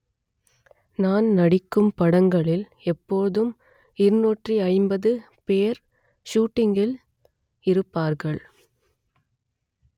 நான் நடிக்கும் படங்களில் எப்பொழுதும் இருநூற்றி ஐம்பது பேர் ஷூட்டிங்கில் இருப்பார்கள்